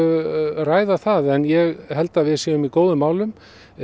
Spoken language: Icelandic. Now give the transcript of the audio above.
ræða það en ég held að við séum í góðum málum